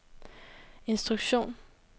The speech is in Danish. instruktion